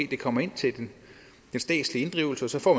det kommer ind til den statslig inddrivelse og så får